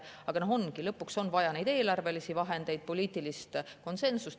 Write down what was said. Aga lõpuks on vaja eelarvelisi vahendeid ja poliitilist konsensust.